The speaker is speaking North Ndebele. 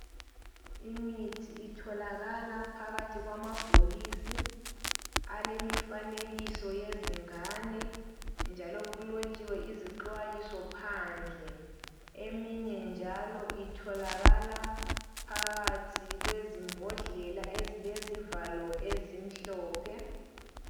Imithi itholakala phakathi kwamabhokisi alemifanekiso yezingane njalo kulotshiwe izixwayiso phandle eminye njalo itholakala phakathi kwezimbodlela ezilezivalo ezimhlophe